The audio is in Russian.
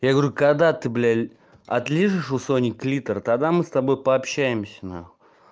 я говорю когда ты блядь отлижишь у сони клитор тогда мы с тобой пообщаемся на хуй